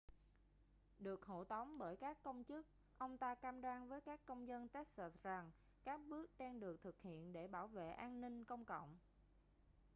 được hộ tống bởi các công chức ông ta cam đoan với các công dân texas rằng các bước đang được thực hiện để bảo vệ an ninh công cộng